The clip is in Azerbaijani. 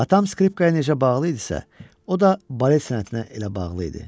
Atam skripka necə bağlı idisə, o da balet sənətinə elə bağlı idi.